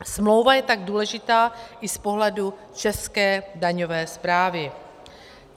Smlouva je tak důležitá i z pohledu české daňové správy.